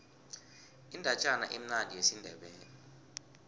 indatjana emnandi yesindebele